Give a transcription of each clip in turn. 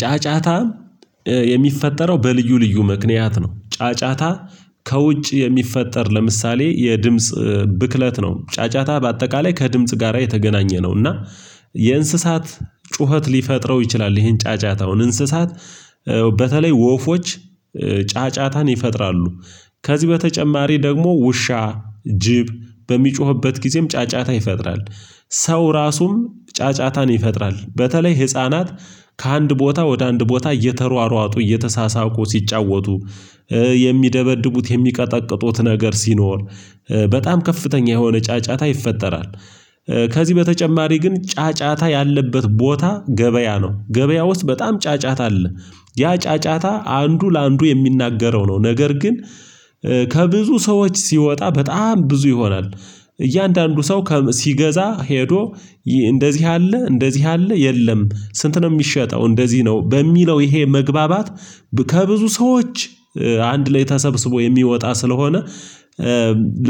ጫጫታ የሚፈጠረው በልዩ ልዩ ምክንያት ነው። ጫጫታ ከውጭ የሚፈጠር ለምሳሌ የድምጽ ብክለት ነው። ጫጫታ በአጠቃላይ ከድምጽ ጋራ የተገናኘ ነው። እና የእንስሳት ጩኸት ሊፈጥረው ይችላል ይሄን ጫጫታውን እንስሳት በተለይ ወፎች ጫጫታን ይፈጥራሉ። ከዚህ በተጨማሪ ደግሞ ውሻ ጅብ በሚጮህበት ጊዜም ጫጫታ ይፈጥራል። ሰው ራሱም ጫጫታን ይፈጥራል በተለይ ህፃናት ከአንድ ቦታ ወደ አንድ ቦታ እየተሯሯጡ እየተሳሳቁ ሲጫወቱ የሚደበድቡት የሚቀጠቅጡት ነገር ሲኖር በጣም ከፍተኛ የሆነ ጫጫታ ይፈጠራል። ከዚህ በተጨማሪ ግን ጫጫታ ያለበት ቦታ ገበያ ነው ገበያ ውስጥ በጣም ጫጫታ አለ። ያ ጫጫታ አንዱ ለአንዱ የሚናገረው ነው ነገር ግን ከብዙ ሰዎች ሲወጣ በጣም ብዙ ይሆናል። እያንዳንዱ ሰው ሲገዛ ሄዶ እንደዚህ አለ እንደዚህ አለ የለም ስንት ነው የሚሸጠው እንደዚህ ነው? በሚለው ይሄ መግባባት ከብዙ ሰዎች አንድ ላይ ተሰብስቦ የሚወጣ ስለሆነ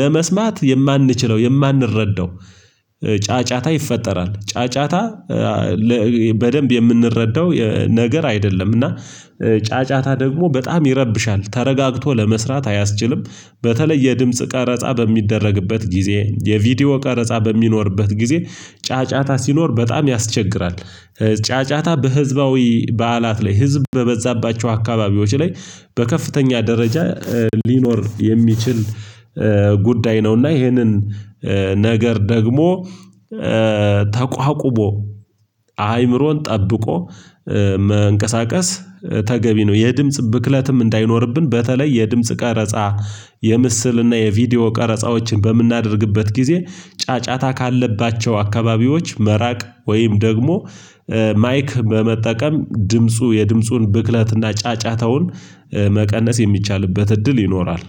ለመስማት የማንችለው የማንረዳው ጫጫታ ይፈጠራል። ጫጫታ በደንብ የምንረዳው ነገር አይደለም። እና ጫጫታ ደግሞ በጣም ይረብሻል ተረጋግቶ ለመስራት አያስችልም። በተለይ የድምጽ ቀረጻ በሚደረግበት ጊዜ የቪዲዮ ቀረጻ በሚኖርበት ጊዜ ጫጫታ ሲኖር በጣም ያስቸግራል። ጫጫታ በህዝባዊ በዓላት ላይ ህዝብ በበዛባቸው አካባቢዎች ላይ በከፍተኛ ደረጃ ሊኖር የሚችል ጉዳይ ነውና ይሄንን ነገር ደግሞ ተቋቁሞ አይምሮን ጠብቆ መንቀሳቀስ ተገቢ ነው። የድምጽ ብክለትም እንዳይኖርብን በተለይ የድምጽ ቀረጻ የምስልና የቪዲዮ ቀረጻዎችን በምናደርግበት ጊዜ ጫጫታ ካለባቸው አካባቢዎች መራቅ ወይም ደግሞ ማይክ በመጠቀም ድምፁ የድምፁን ብክለትና ጫጫታውን መቀነስ የሚቻልበት እድል ይኖራል